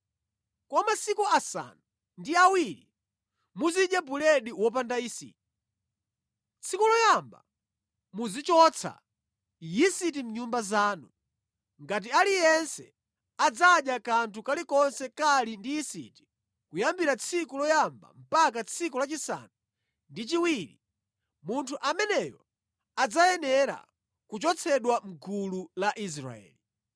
Kwa masiku asanu ndi awiri muzidya buledi wopanda yisiti. Tsiku loyamba muzichotsa yisiti mʼnyumba zanu, ngati aliyense adzadya kanthu kalikonse kali ndi yisiti kuyambira tsiku loyamba mpaka tsiku lachisanu ndi chiwiri, munthu ameneyo adzayenera kuchotsedwa mʼgulu la Israeli.